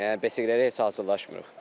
Yəni besiqələrə heç hazırlaşmırıq.